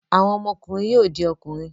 Àwọn ọmọkùnrin yóò di ọkùnrin.